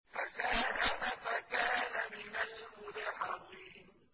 فَسَاهَمَ فَكَانَ مِنَ الْمُدْحَضِينَ